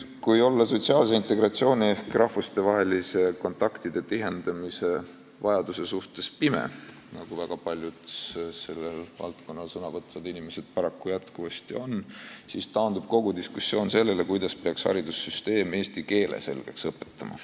Kui olla sotsiaalse integratsiooni ehk rahvustevaheliste kontaktide tihendamise vajaduse suhtes pime, nagu väga paljud selles valdkonnas sõna võtvad paraku jätkuvasti on, siis taandub kogu diskussioon sellele, kuidas peaks haridussüsteem eesti keele selgeks õpetama.